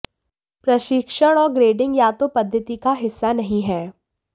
परीक्षण और ग्रेडिंग या तो पद्धति का हिस्सा नहीं हैं